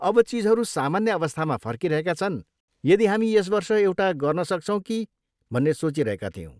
अब चिजहरू सामान्य अवस्थामा फर्किरहेका छन्, यदि हामी यस वर्ष एउटा गर्न सक्छौँ कि भन्ने सोचिरहेका थियौँ।